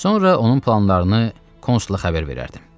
Sonra onun planlarını Konsula xəbər verərdim.